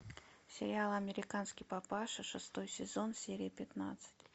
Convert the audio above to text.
сериал американский папаша шестой сезон серия пятнадцать